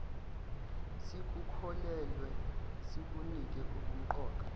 sikukholelwe sikunike ubumqoka